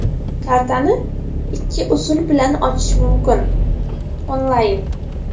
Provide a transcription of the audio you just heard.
Kartani ikki usul bilan ochish mumkin: Onlayn.